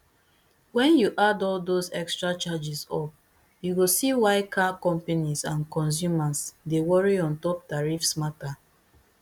wen you add all dose extra charges up you go see why car companies and consumers dey worry ontop tarrifs matter